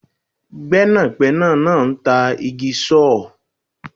Gbẹ́nàgbẹ́nà náà ń tà jig saw